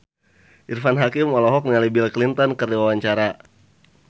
Irfan Hakim olohok ningali Bill Clinton keur diwawancara